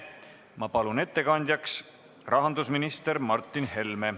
Ma palun ettekandjaks rahandusminister Martin Helme!